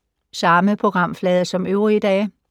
Samme programflade som øvrige dage